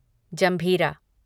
जंभीरा